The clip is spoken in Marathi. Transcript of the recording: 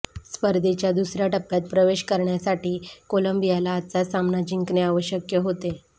स्पर्धेच्या दुसर्या टप्प्यात प्रवेश करण्यासाठी कोलंबियाला आजचा सामना जिंकणे आवश्यक होते